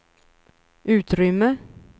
utrymme